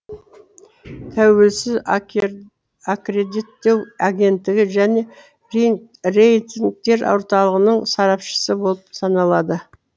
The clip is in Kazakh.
тәуелсіз аккредиттеу агенттігі және рейтингтер орталығының сарапшысы болып саналады